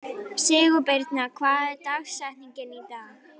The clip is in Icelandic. Sigurbirna, hver er dagsetningin í dag?